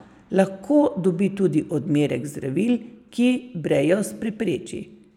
Lahko dobi tudi odmerek zdravil, ki brejost prepreči.